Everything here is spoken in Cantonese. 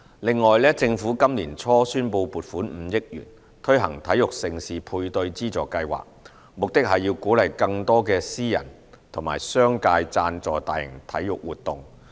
另外，政府今年年初宣布撥款5億元，推行體育盛事配對資助計劃，目的是鼓勵更多的私人和商界贊助大型體育活動。